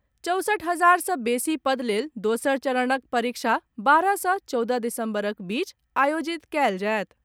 चौसठ हजार सॅ बेसी पद लेल दोसर चरणक परीक्षा बारह सॅ चौदह दिसंबरक बीच आयोजित कयल जायत।